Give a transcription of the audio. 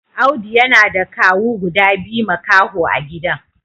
Audu yana da kawu guda biyu makaho a gidan.